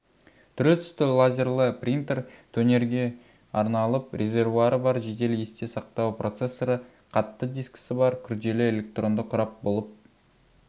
түрлі-түсті лазерлі принтер тонерге арналып резервуары бар жедел есте сақтауы процессоры қатты дискісі бар күрделі электронды құрал болып